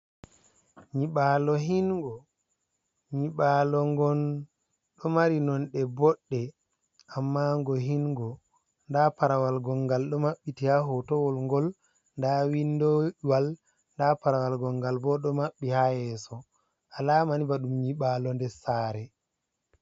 Nyiɓalo Hingo, Nyiɓalogon ɗo mari Nonɗe Bodɗe, Amma ngo Hinngo, nda Parawal Gongal ɗo Mabɓiti ha Hotowol ngol, nda Windowal, nda Parawal Gongal bo ɗo Mabɓi ha Yeso, Alamani Baɗum Nyiɓalo nder Sare.